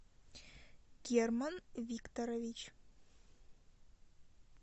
герман викторович